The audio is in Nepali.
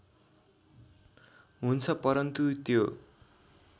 हुन्छ परन्तु त्यो